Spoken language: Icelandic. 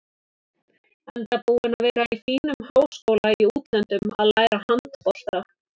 Enda búinn að vera í fínum háskóla í útlöndum að læra handbolta.